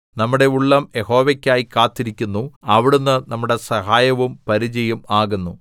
നമ്മുടെ ഉള്ളം യഹോവയ്ക്കായി കാത്തിരിക്കുന്നു അവിടുന്ന് നമ്മുടെ സഹായവും പരിചയും ആകുന്നു